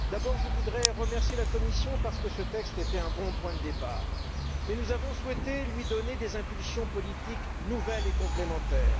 D'abord, je voudrais remercier la Commission parce que son texte était un bon point de départ, mais nous avons souhaité lui donner des impulsions politiques nouvelles et complémentaires.